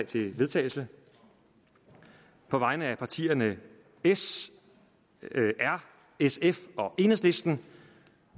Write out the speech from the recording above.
til vedtagelse på vegne af partierne s rv sf og enhedslisten